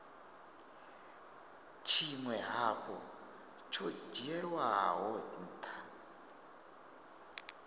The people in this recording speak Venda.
tshinwe hafhu tsho dzhielwaho ntha